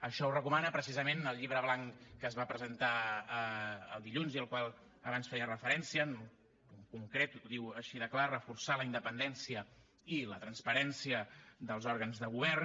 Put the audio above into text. això ho recomana precisament el llibre blanc que es va presentar dilluns i al qual abans feia referència en concret ho diu així de clar reforçar la independència i la transparència dels òrgans de govern